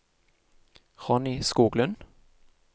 Ronny Skoglund